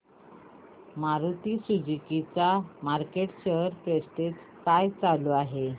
Maruti Suzuki चा market share percentage काय चालू आहे